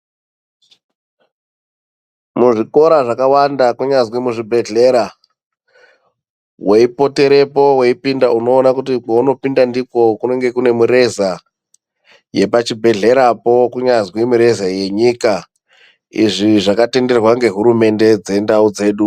Muzvikora zvakawanda kunyazwi muzvibhedhlera weipoterepo weipinda unoona kuti pounopinda ndipo kunenge kune mureza yepachibhedhlerapo kunyazwi mureza yenyika izvi zvakatenderwa ngehurumende dzendau dzedu.